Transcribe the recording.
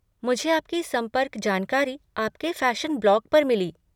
मुझे आपकी संपर्क जानकारी आपके फ़ैशन ब्लॉग पर मिली।